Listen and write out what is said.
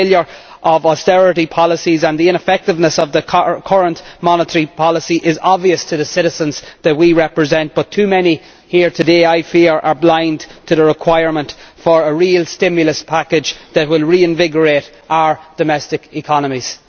The failure of austerity policies and the ineffectiveness of the current monitoring policy is obvious to the citizens that we represent, but too many people here today are, I fear, blind to the need for a real stimulus package that would reinvigorate our domestic economies.